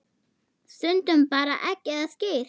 Stundum bara egg eða skyr.